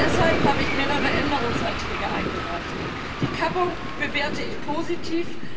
Deshalb habe ich mehrere Änderungsanträge eingereicht. Die Kappung bewerte ich positiv